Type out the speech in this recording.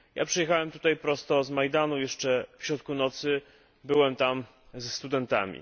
Ja przyjechałem tutaj prosto z Majdanu, jeszcze w środku nocy byłem tam ze studentami.